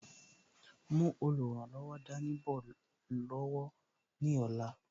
Mú olùrànlọ́wọ̀ dání bọ̀ lọ́wọ́ ní ọ̀la